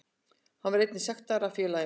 Hann var einnig sektaður af félaginu